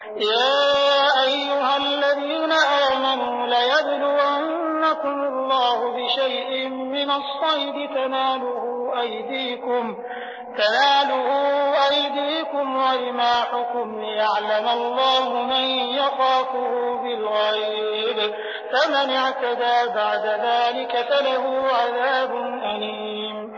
يَا أَيُّهَا الَّذِينَ آمَنُوا لَيَبْلُوَنَّكُمُ اللَّهُ بِشَيْءٍ مِّنَ الصَّيْدِ تَنَالُهُ أَيْدِيكُمْ وَرِمَاحُكُمْ لِيَعْلَمَ اللَّهُ مَن يَخَافُهُ بِالْغَيْبِ ۚ فَمَنِ اعْتَدَىٰ بَعْدَ ذَٰلِكَ فَلَهُ عَذَابٌ أَلِيمٌ